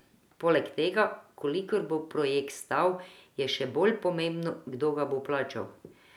Poleg tega, koliko bo projekt stal, je še bolj pomembno, kdo ga bo plačal.